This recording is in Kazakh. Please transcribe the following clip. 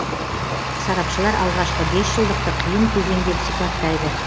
сарапшылар алғашқы бес жылдықты қиын кезең деп сипаттайды